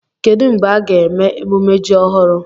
Kedu mgbe a ga-eme emume ji ọhụrụ?